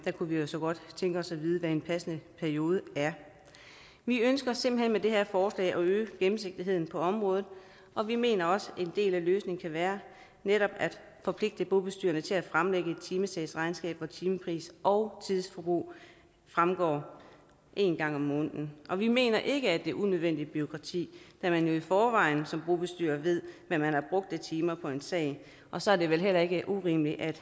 kunne vi jo så godt tænke os at vide hvad en passende periode er vi ønsker simpelt hen med det her forslag at øge gennemsigtigheden på området og vi mener også en del af løsningen kan være netop at forpligte bobestyrerne til at fremlægge et timetalsregnskab hvoraf timepris og tidsforbrug fremgår en gang om måneden og vi mener ikke at det er unødvendigt bureaukrati da man jo i forvejen som bobestyrer ved hvad man har brugt af timer på en sag og så er det vel heller ikke urimeligt at